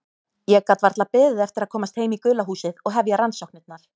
Ég gat varla beðið eftir að komast heim í gula húsið og hefja rannsóknirnar.